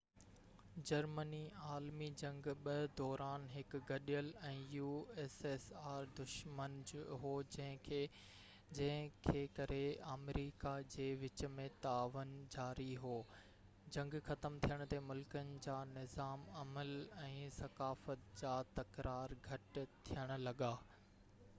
Germany عالمي جنگ 2 دوران هڪ گڏيل دشمن هو جنهن کي ڪري ussr ۽ آمريڪا جي وچ ۾ تعاون جاري هو جنگ ختم ٿيڻ تي ملڪن جا نظام عمل ۽ ثقافت جا تڪرار گهٽ ٿيڻ لڳا